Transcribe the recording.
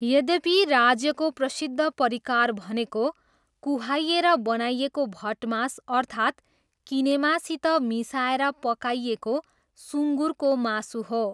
यद्यपि, राज्यको प्रसिद्ध परिकार भनेको कुहाइएर बनाइएको भटमास अर्थात् किनेमासित मिसाएर पकाइएको सुँगुरको मासु हो।